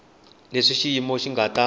leswi xiyimo xi nga ta